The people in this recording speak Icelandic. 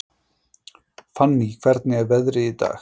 Fanny, hvernig er veðrið í dag?